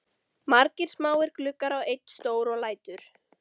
Margir smáir gluggar og einn stór og lætur